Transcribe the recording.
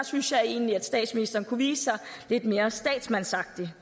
synes jeg egentlig statsministeren kunne vise sig lidt mere statsmandsagtig